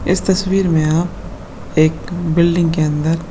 इस तस्वीर मैं आप एक बिल्डिंग के अंदर --